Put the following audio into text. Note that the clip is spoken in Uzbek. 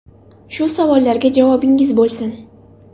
Shu savollarga javobingiz bo‘lsin.